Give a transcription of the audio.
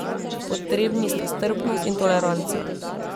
Potrebni sta strpnost in toleranca.